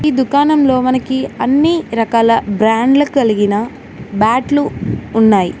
ఈ దుకాణంలో మనకి అన్నీ రకాల బ్రాండ్లు కలిగిన బ్యాట్లు ఉన్నాయ్.